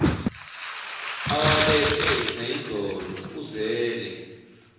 awalethe nayizolo uzele